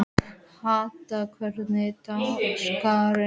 Hadda, hvernig er dagskráin?